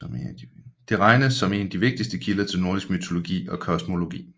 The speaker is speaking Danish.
Det regnes som en af de vigtigste kilder til nordisk mytologi og kosmologi